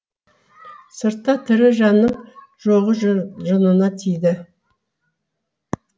сыртта тірі жанның жоғы жынына тиді